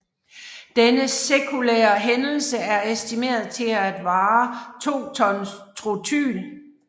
Denne sekundære hændelse er estimeret til at tilsvare to ton Trotyl